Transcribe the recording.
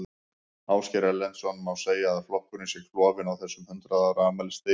Ásgeir Erlendsson: Má segja að flokkurinn sé klofinn á þessum hundrað ára afmælisdegi?